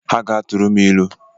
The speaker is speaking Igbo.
Ha ga-atụrụ m ilu